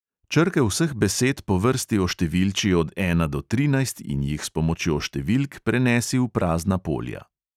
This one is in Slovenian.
Črke vseh besed po vrsti oštevilči od ena do trinajst in jih s pomočjo številk prenesi v prazna polja.